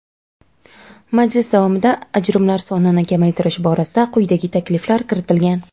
majlis davomida ajrimlar sonini kamaytirish borasida quyidagi takliflar kiritilgan:.